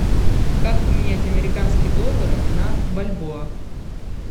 как поменять американские доллары на бальбоа